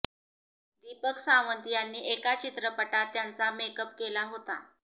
दीपक सावंत यांनी एका चित्रपटात त्यांचा मेकअप केला होता